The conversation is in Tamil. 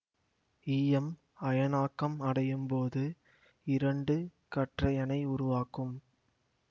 ஈயம் அயனாக்கம் அடையும் போது இரண்டு கற்றயனை உருவாக்கும்